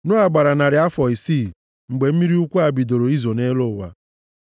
Noa gbara narị afọ isii mgbe mmiri ukwu a bidoro izo nʼelu ụwa.